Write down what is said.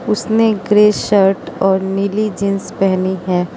उसने grey shirt और नीली जींस पहनी है।